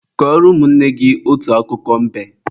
Kọrọ ụmụnne gị otu akụkọ mbe!